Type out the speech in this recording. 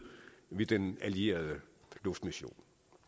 ved den allierede luftmission